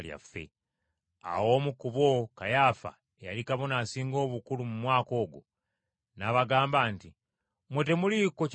Awo omu ku bo, Kayaafa eyali Kabona Asinga Obukulu mu mwaka ogwo, n’abagamba nti, “Mmwe temuliiko kye mumanyi.